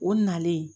O nalen